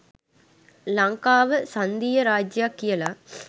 ලංකාව සංධීය රාජ්‍යයක් කියල.